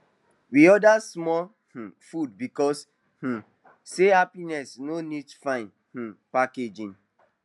we order small um food because um say happiness no need fine um packaging